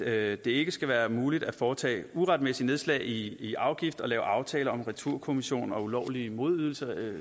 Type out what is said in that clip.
at det ikke skal være muligt at foretage et uretmæssigt nedslag i i afgifter og lave aftaler om returkommission og ulovlige modydelser